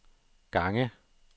gange